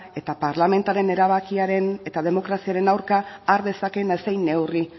eta parlamentuaren erabakiaren eta demokraziaren aurka har dezaken edozein neurri